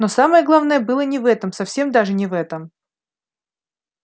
но самое главное было не в этом совсем даже не в этом